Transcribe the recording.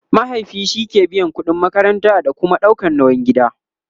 mahaifi shike biyan ƙudin makaranta da Kuma ɗaukan nauyin gida